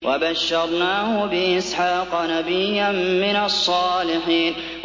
وَبَشَّرْنَاهُ بِإِسْحَاقَ نَبِيًّا مِّنَ الصَّالِحِينَ